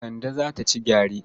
Kande za ta ci gyare.